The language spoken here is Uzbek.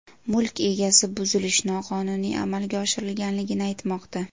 Mulk egasi buzilish noqonuniy amalga oshirilganligini aytmoqda.